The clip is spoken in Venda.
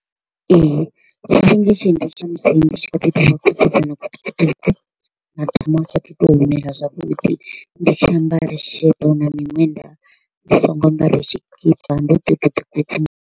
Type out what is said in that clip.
Ee, tshifhinga tshe nda vha tshi tsha musi ndi tshi kha ḓi to u vha kusidzana kutukutuku, madamu a saathu u to u mela zwavhuḓi, ndi tshi ambara sheḓo na miṅwenda ndi songo ambara tshikipa, ndo ḓi to u ḓi .